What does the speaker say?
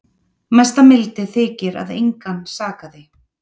Mesta mildi þykir að engan sakaði